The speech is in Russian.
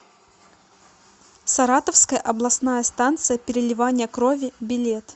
саратовская областная станция переливания крови билет